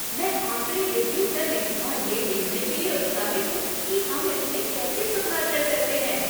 मैं आकड़े रिव्यू करने और ये देखने के लिए उत्साहित हूँ कि हम इसमें कैसे सुधार कर सकते हैं।